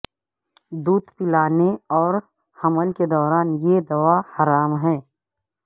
دودھ پلانے اور حمل کے دوران یہ دوا حرام ہے